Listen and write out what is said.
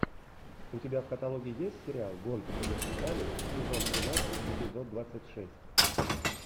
у тебя в каталоге есть сериал гонки по вертикали сезон тринадцать эпизод двадцать шесть